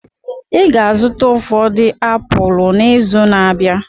Ị ga-azụta ụfọdụ apụl n'izu na-abịa.